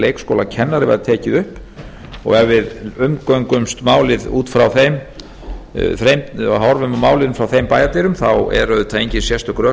var tekið upp ef við umgöngumst málið horfum á málin frá þeim bæjardyrum eru auðvitað engin sérstök rök